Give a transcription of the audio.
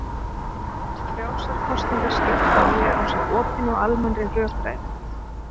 Frjálsar kosningar skipta máli ásamt opinni og almennri rökræðu.